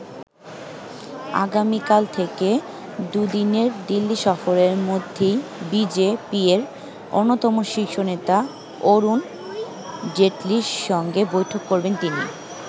আগামীকাল থেকে দুদিনের দিল্লি সফরের মধ্যেই বি জে পি-র অন্যতম শীর্ষ নেতা অরুণ জেটলির সঙ্গে বৈঠক করবেন তিনি।